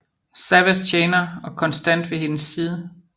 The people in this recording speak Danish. Savahs tjener og konstant ved hendes side